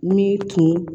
Min tun